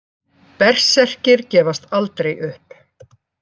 Berserkir gefast aldrei upp!